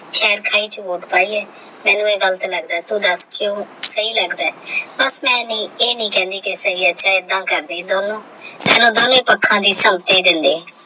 ਖੇਰ ਵਿੱਚ ਵੋਟ ਪਾਈ ਹੈ ਮੈਨੂੰ ਇਹ ਗੱਲ ਤੇ ਲੱਗਦਾ ਹੈ ਤੋਂ ਦੱਸ ਕਿਊ ਸਹੀ ਲੱਗਦਾ ਬਸ ਮੈਂ ਨਹੀਂ ਇਹ ਨਹੀਂ ਕਹਿੰਦੀ ਸਹੀ ਏਦਾਂ ਕਰਦੇ ਦੋਨੋ